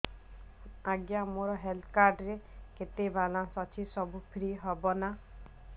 ଆଜ୍ଞା ମୋ health card ରେ କେତେ ବାଲାନ୍ସ ଅଛି ସବୁ ଫ୍ରି ହବ ନାଁ